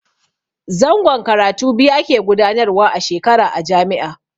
Zangon karatu biyu ake gudanarwa a shekara a jami'a.